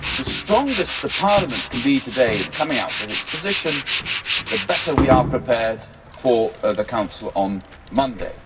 The stronger Parliament can be today in coming out with its position, the better we are prepared for the Council on Monday.